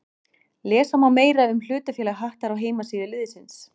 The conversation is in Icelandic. Lesa má meira um hlutafélag Hattar á heimasíðu liðsins.